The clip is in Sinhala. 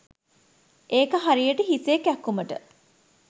ඒක හරියට හිසේ කැක්කුමට